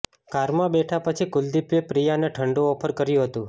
કારમાં બેઠા પછી કુલદીપે પ્રિયાને ઠંડુ ઓફર કર્યું હતું